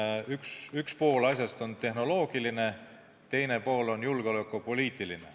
Nii et üks pool asjast on tehnoloogiline, teine pool on julgeolekupoliitiline.